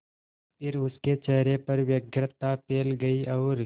फिर उसके चेहरे पर व्यग्रता फैल गई और